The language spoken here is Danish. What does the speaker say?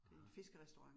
Nåh